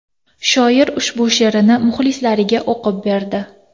Shoir ushbu she’rini muxlislariga o‘qib berdi.